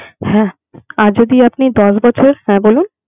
হ্যাঁ আর আপনি দশ বছর, হ্যাঁ বলুন